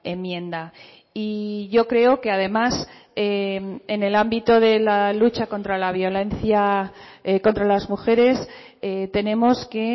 enmienda y yo creo que además en el ámbito de la lucha contra la violencia contra las mujeres tenemos que